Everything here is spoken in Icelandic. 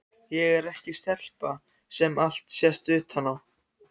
Ég er ekki stelpa sem allt sést utan á.